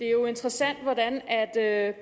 jo interessant at